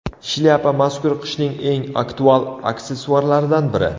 Shlyapa mazkur qishning eng aktual aksessuarlaridan biri.